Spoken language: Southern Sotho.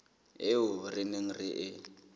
eo re neng re e